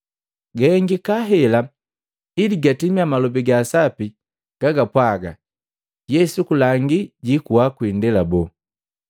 Gahengika hela ili gatimia Malobi ga Sapi gajapwaga Yesu kulangi jiikuwa kwi indela boo.